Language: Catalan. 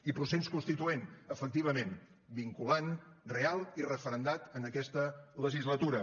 i procés constituent efectivament vinculant real i referendat en aquesta legislatura